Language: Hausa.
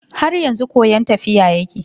Har yanzu koyon tafiya yake.